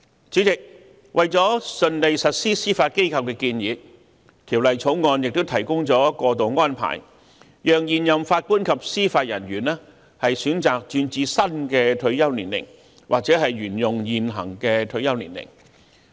主席，為了順利實施司法機構的建議，《條例草案》也提供過渡安排，讓現任法官及司法人員選擇轉至新的退休年齡或沿用現行退休年齡。